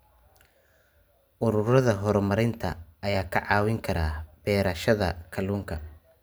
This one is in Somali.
Ururada horumarinta ayaa ka caawin kara beerashada kalluunka.